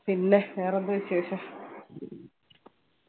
പിന്നെ വേറെന്താ വിശേഷം